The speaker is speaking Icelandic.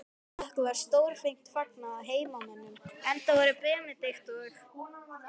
Okkur var stórvel fagnað af heimamönnum, enda voru Benedikt og